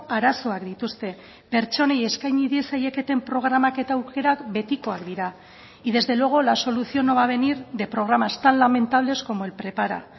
arazoak dituzte pertsonei eskaini diezaieketen programak eta aukerak betikoak dira y desde luego la solución no va a venir de programas tan lamentables como el prepara